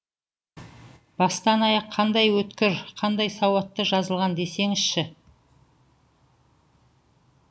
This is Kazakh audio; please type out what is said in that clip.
бастан аяқ қандай өткір қандай сауатты жазылған десеңізші